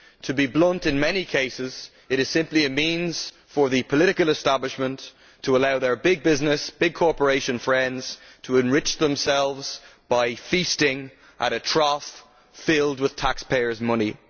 To be blunt, in many cases it is simply a means for the political establishment to allow their big business, big corporation friends to enrich themselves by feasting at a trough filled with taxpayers' money.